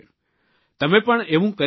તમે પણ એવું કરી શકો છો